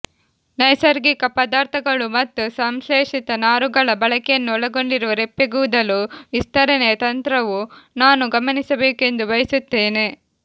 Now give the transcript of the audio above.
ನೈಸರ್ಗಿಕ ಪದಾರ್ಥಗಳು ಮತ್ತು ಸಂಶ್ಲೇಷಿತ ನಾರುಗಳ ಬಳಕೆಯನ್ನು ಒಳಗೊಂಡಿರುವ ರೆಪ್ಪೆಗೂದಲು ವಿಸ್ತರಣೆಯ ತಂತ್ರವು ನಾನು ಗಮನಿಸಬೇಕೆಂದು ಬಯಸುತ್ತೇನೆ